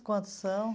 Quantos são?